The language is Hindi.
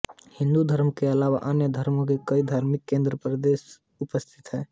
हिन्दू धर्म के अलावा अन्य धर्मो के कई धार्मिक केंद्र प्रदेश में उपस्थित हैं